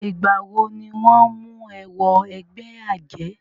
Ìgbà wọ ni wọ́n mú e wọ ẹgbẹ́ àjẹ́?